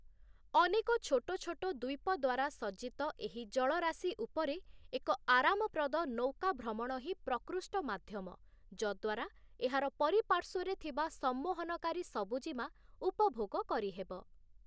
ଅନେକ ଛୋଟ ଛୋଟ ଦ୍ୱୀପ ଦ୍ୱାରା ସଜ୍ଜିତ ଏହି ଜଳରାଶି ଉପରେ ଏକ ଆରାମପ୍ରଦ ନୌକା ଭ୍ରମଣ ହିଁ ପ୍ରକୃଷ୍ଟ ମାଧ୍ୟମ ଯଦ୍ୱାରା ଏହାର ପରିପାର୍ଶ୍ଵରେ ଥିବା ସମ୍ମୋହନକାରୀ ସବୁଜିମା ଉପଭୋଗ କରିହେବ ।